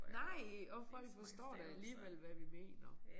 Nej og folk forstår da alligevel hvad vi mener